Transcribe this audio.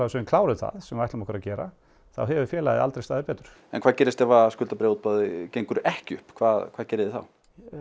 sem við klárum það sem við ætlum okkur að gera þá hefur félagið aldrei staðið betur hvað gerist ef skuldabréfaútboð gengur ekki upp hvað hvað gerið þið þá